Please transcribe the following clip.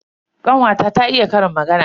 Kanwata ta iya ƙarin magana.